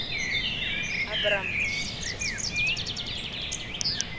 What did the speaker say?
abram